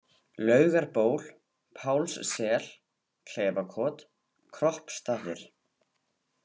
Laugarból, Pálssel, Kleifakot, Kroppstaðir